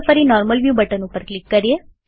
ચાલો ફરી normal view button ઉપર ક્લિક કરીએ